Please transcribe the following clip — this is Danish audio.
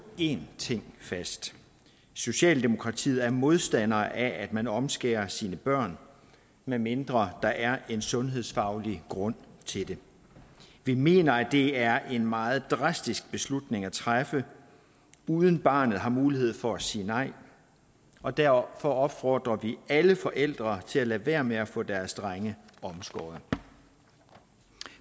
en ting fast socialdemokratiet er modstander af at man omskærer sine børn medmindre der er en sundhedsfaglig grund til det vi mener at det er en meget drastisk beslutning at træffe uden at barnet har mulighed for at sige nej og derfor opfordrer vi alle forældre til at lade være med at få deres drenge omskåret